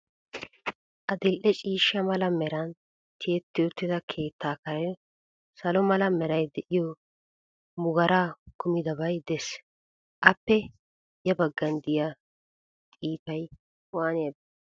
Adil'e ciishsha mala meran tiyetti uttida keettaa Karen salo mala meray de'iyo muggaara kumidabay des. Appe ya baggan diya xiipay waaniyabee?